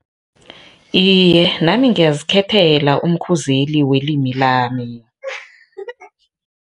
Iye, nami ngiyazikhethela umkhuzeli welimi lami.